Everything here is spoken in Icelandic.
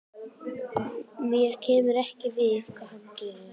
Mér kemur ekkert við hvað hann gerir.